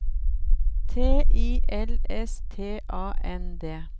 T I L S T A N D